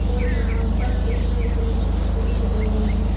और यहां पर एक बैठने की सीट भी लगी हुई है।